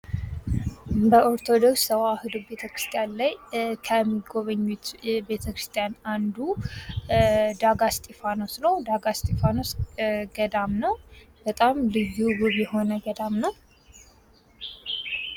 በኦርቶዶክስ ተዋህዶ ቤተክርስቲያን ላይ ከሚጎበኙት ቤተክርስቲያን አንዱ ዳጋ እስጢፋኖስ ነው። ዳጋ እስጢፋኖስ ገዳም ነው በጣም ልዩ ውብ የሆነ ገዳም ነው።